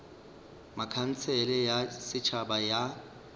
ba khansele ya setšhaba ya